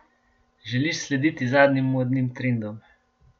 Želiš slediti zadnjim modnim trendom?